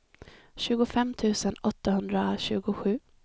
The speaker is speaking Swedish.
tjugofem tusen åttahundratjugosju